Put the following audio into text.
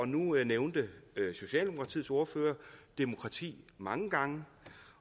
nu nævnte socialdemokratiets ordfører demokrati mange gange